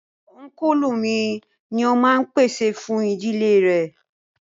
Únkùlù mi ni o máa n pèsè fún ìdílé rẹ̀